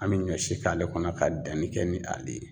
An bi ɲɔ si k'ale kɔnɔ ka danni kɛ ni ale ye.